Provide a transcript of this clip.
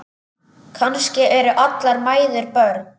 Kannski eru allar mæður börn.